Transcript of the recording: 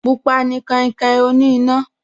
Pupa ni kainkain oní iná